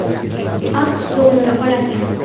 AQSh dollari oladi.